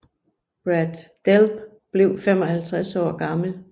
Brad Delp blev 55 år gammel